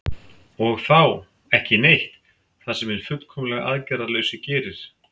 og þá „ekki neitt“ það sem hinn fullkomlega aðgerðalausi gerir